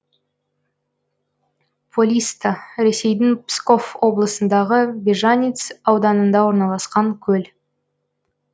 полисто ресейдің псков облысындағы бежаниц ауданында орналасқан көл